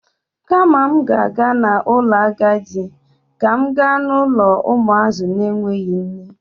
Kama m ga-aga n'ụlọ agadi, ka m ga n'ụlọ ụmụazị na-enweghi nne.